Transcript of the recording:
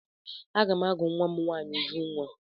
Aga m agụ nwa m nwaanyi Ujunwa.